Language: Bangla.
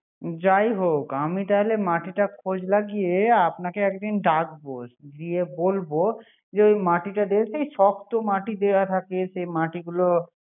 যাই হোক মাটিটা খোজ লাগিয়ে। আপনাকে একদিন ডাকবো গিয়ে বলবো যে মাটিটা শক্ত মাটি দেয়া থাকে সে মাটিগুলো